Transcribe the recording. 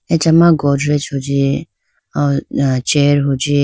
Acha ma godrej hunji chair hunji.